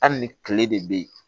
Hali ni tile de bɛ yen